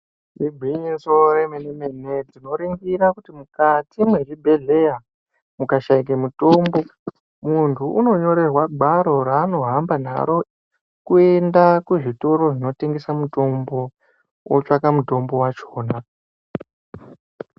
Igwinyiso yemene mene tinoringira kuti mukati mwezvibhedhlera mukashaika mutombo muntu unonyorerwa gwaro raanohamba naro kuenda kuzvitoro zvinotengesa mutombo otsvaka mutombo wachona.